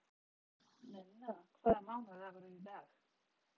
Nenna, hvaða mánaðardagur er í dag?